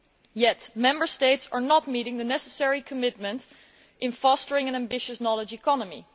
Yet Member States are not meeting the necessary commitment in fostering an ambitious knowledge economy.